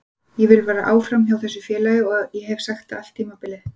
Ég vil vera áfram hjá þessu félagi og ég hef sagt það allt tímabilið.